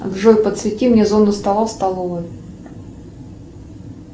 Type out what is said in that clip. джой подсвети мне зону стола в столовой